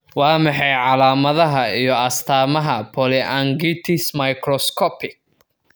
Waa maxay calaamadaha iyo astaamaha polyangiitis microscopic?